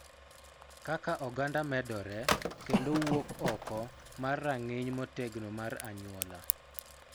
Kaka oganda medore kendo wuok oko mar rang'iny motegno mar anyuola,